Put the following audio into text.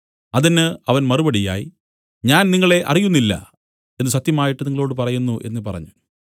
അതിന് അവൻ മറുപടിയായി ഞാൻ നിങ്ങളെ അറിയുന്നില്ല എന്നു സത്യമായിട്ട് നിങ്ങളോടു പറയുന്നു എന്നു പറഞ്ഞു